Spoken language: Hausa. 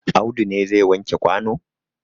Audu ne zai wanke kwano?